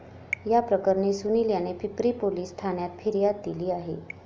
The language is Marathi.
याप्रकरणी सुनिल याने पिंपरी पोलीस ठाण्यात फिर्याद दिली आहे.